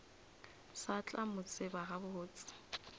sa tla mo tseba gabotse